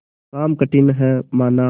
काम कठिन हैमाना